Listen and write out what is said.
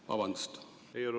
Vabandust!